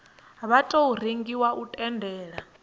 wa tou rengiwa u tendela